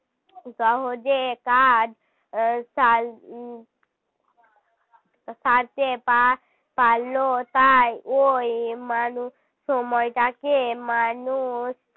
সহজে কাজ সাল তাতে পা~ পারল তাই ওই মানুষ সময়টাকে মানুষ